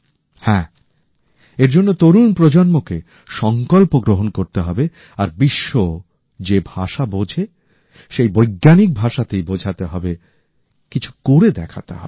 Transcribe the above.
হ্যাঁ এর জন্য তরুণ প্রজন্মকে সংকল্প গ্রহণ করতে হবে আর বিশ্ব যে ভাষা বোঝে সেই বৈজ্ঞানিক ভাষাতেই বোঝাতে হবে কিছু করে দেখাতে হবে